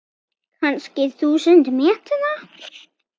Kannski þúsund metra?